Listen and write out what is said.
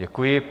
Děkuji.